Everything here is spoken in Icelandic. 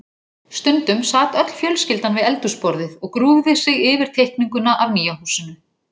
Stundum sat öll fjölskyldan við eldhúsborðið og grúfði sig yfir teikninguna af nýja húsinu.